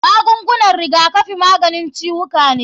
Magungunan rigakafi maganin ciwuka ne.